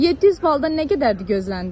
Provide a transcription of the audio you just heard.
700 baldan nə qədərdir gözləntin?